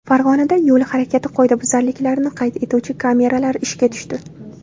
Farg‘onada yo‘l harakati qoidabuzarliklarini qayd etuvchi kameralar ishga tushdi.